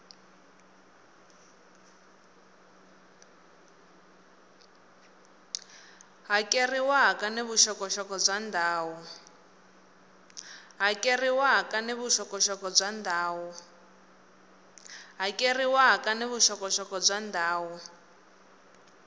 hakeriwaka ni vuxokoxoko bya ndhawu